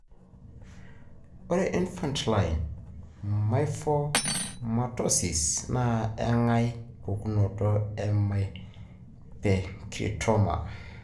ore infantile myofibromatosis na engae pukunoto e myopericytoma.